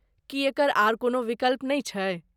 की एकर आर कोनो विकल्प नहि छै?